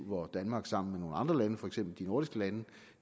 hvor danmark sammen med nogle andre lande for eksempel de nordiske lande